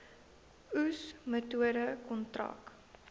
oes metode kontrak